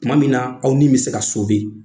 Tuma min na aw ni bɛ se ka